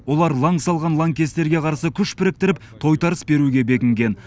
олар ылаң салған ланкестерге қарсы күш біріктіріп тойтарыс беруге бекінген